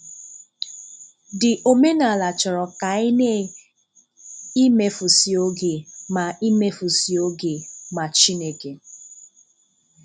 The omenàlà chọrọ ka anyị na imefùsì oge mà imefùsì oge mà Chineke.